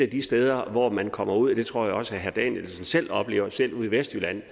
de steder hvor man kommer ud og jeg tror også herre danielsen selv oplever det selv ude i vestjylland